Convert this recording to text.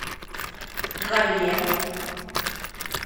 галле